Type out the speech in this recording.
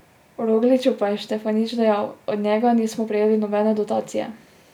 O Rogliću pa je Štefanič dejal: "Od njega nismo prejeli nobene dotacije.